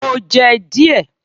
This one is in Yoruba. Mo jẹ́ díẹ̀